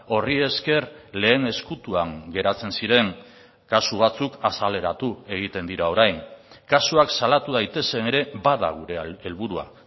horri esker lehen ezkutuan geratzen ziren kasu batzuk azaleratu egiten dira orain kasuak salatu daitezen ere bada gure helburua